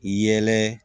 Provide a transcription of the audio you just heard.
Yɛlɛ